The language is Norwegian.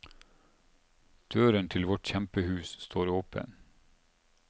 Døren til vårt kjempehus står åpen.